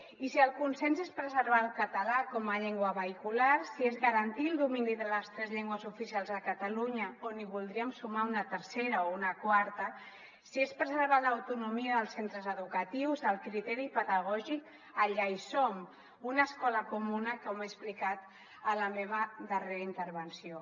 i si el consens és preservar el català com a llengua vehicular si és garantir el domini de les tres llengües oficials de catalunya o n’hi voldríem sumar una tercera o una quarta si és preservar l’autonomia dels centres educatius el criteri pedagògic allà hi som una escola comuna com he explicat a la meva darrera intervenció